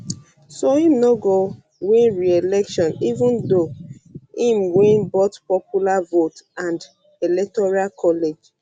so e no go win reelection even though im though im win both popular vote and electoral college um